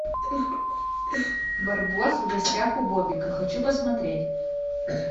барбос в гостях у бобика хочу посмотреть